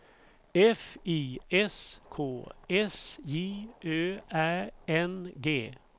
F I S K S J Ö Ä N G